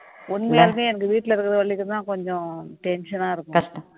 உண்மையாலுமே அந்த வீடுல இருக்குறவங்களுக்கு தான் கொஞ்சம் tension ஆ இருக்கும்